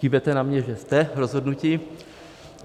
Kývete na mě, že jste rozhodnuti.